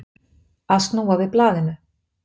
Að snúa við blaðinu